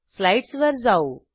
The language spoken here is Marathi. स्लाईडसवर जाऊ